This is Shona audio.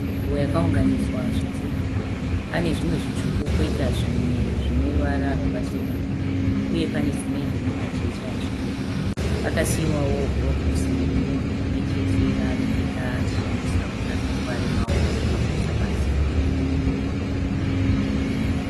Nzvimbo yakauganidzwa zvidhinha. Pane zvimwe zvitsvuku poita zvimwe zvine ruvara rwakacheneruka uye pane simende nemajecha zviripo. Pakasiiwawo gurovosi remunhu rimwechete raanopfeka achishandisa kuti asakuvare maoko pakuita basa.